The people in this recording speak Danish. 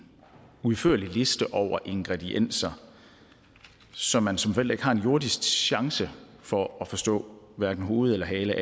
udførlig liste over ingredienser som man som forælder ikke har en jordisk chance for at forstå hverken hoved eller hale